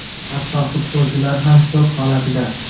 Hatto futbolchilar ham shok holatida.